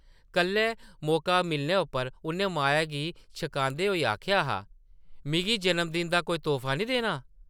कल्ले मौका मिलने उप्पर उʼन्नै माया गी छकांदे होई आखेआ हा, ‘‘मिगी जन्म- दिन दा कोई तोह्फा नेईं देना?’’